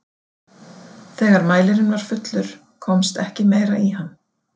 Þegar mælirinn var fullur komst ekki meira í hann.